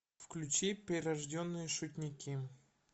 включи прирожденные шутники